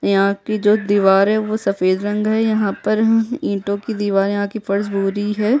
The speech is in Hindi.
यहाँ की जो दीवार है वो सफ़ेद रंग है यहाँ पर ह ईंटो की दिवार यहाँ की फर्स भूरी है।